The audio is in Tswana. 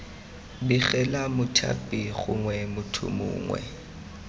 begela mothapi gongwe motho mongwe